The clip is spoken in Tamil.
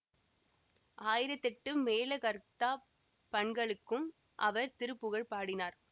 ஆயிரத்தெட்டு மேளகர்த்தாப் பண்களுக்கும் அவர் திருப்புகழ் பாடினார்